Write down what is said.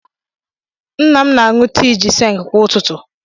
Nna m na-aṅụ tii gịnsịng kwa ụtụtụ.